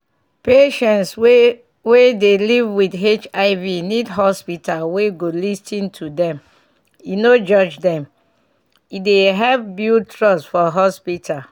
patients wey wey dey live with hiv need hospital we go lis ten to dem e no judge dem e dey help build trust for hospital.